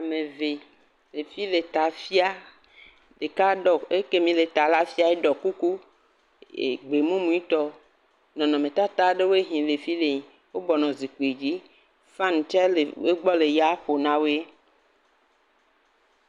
Ame evee, ɖevi le ta fia, ɖeka ɖɔ, ekemi le ta la fia la, eɖɔ kuku, e..gbe mumuitɔ, nɔnɔmetata ɖewoe he le fi le, wobɔ nɔ zikpui dzi, fan tsɛ wo gbɔ le eya ƒom na wee.